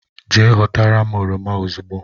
Je họtara m oroma ozugbo